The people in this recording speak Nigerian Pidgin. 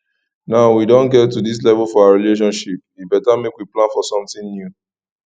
now we don get to dis level for our relationship e beta make we plan for something new